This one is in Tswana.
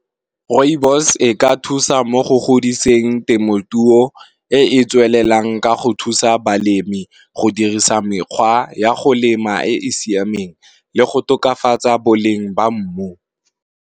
Rooibos e ka thusa mo go godiseng temothuo e e tswelelang ka go thusa balemi go dirisa mekgwa ya go lema e e siameng, le go tokafatsa boleng ba mmu.